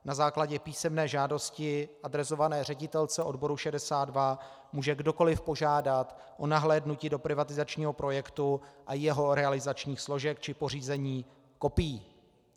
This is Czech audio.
Na základě písemné žádosti adresované ředitelce odboru 62 může kdokoliv požádat o nahlédnutí do privatizačního projektu a jeho realizačních složek či pořízení kopií.